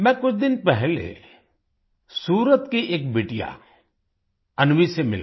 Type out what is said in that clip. मैं कुछ दिन पहले सूरत की एक बिटिया अन्वी से मिला